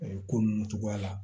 ko ninnu cogoya la